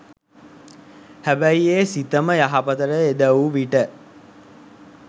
හැබැයි ඒ සිතම යහපතට යෙද වූ විට